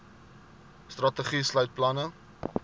strategie sluit planne